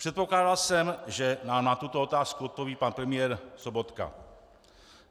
Předpokládal jsem, že nám na tuto otázku odpoví pan premiér Sobotka.